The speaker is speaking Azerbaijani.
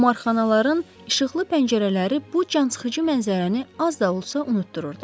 qumarxanaların işıqlı pəncərələri bu cansıxıcı mənzərəni az da olsa unutdururdu.